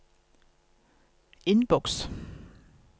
innboks